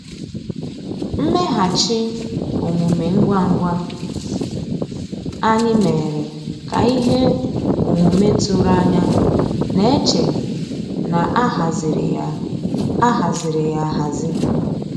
Mmèghàchị́ òmùmé ngwá ngwá ànyị́ mérè ká íhé òmùmé tụ̀rụ̀ ànyá ná-èchè ná á hàzírí yá á hàzírí yá áhàzí.